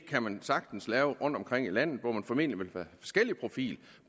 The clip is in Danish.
kan sagtens lave rundtomkring i landet og man vil formentlig få forskellige profiler